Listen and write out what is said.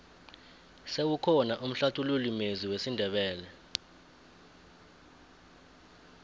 sewukhona umhlathululi mezwi wesindebele